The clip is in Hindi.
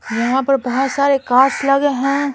यहां पर बहुत सारे कार्ड्स लगे हैं।